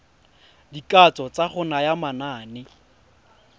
dikatso tsa go naya manane